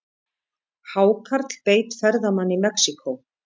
Hákarl beit ferðamann í Mexíkó